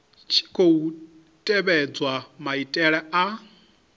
tshi khou tevhedzwa maitele a